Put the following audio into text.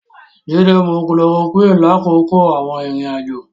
Jídé mu chloroquine lákòókò àwọn ìrìn-àjò.